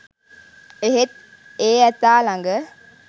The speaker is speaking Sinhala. එහෙත් ඒ ඇතා ළඟ